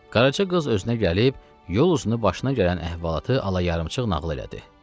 Qaraca qız özünə gəlib, yol uzunu başına gələn əhvalatı alayarımçıq nağıl elədi.